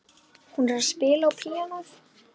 Hún er að spila á píanóið.